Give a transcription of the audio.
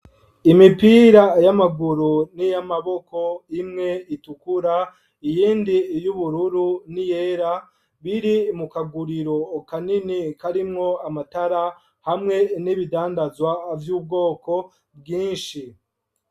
Imipira y'amaguru n'iyamaboko imwe itukura iyindi y'ubururu ni yera biri mu kaguriro kanini karimwo amatara hamwe n'ibidandazwa vy'ubwoko bwinshi.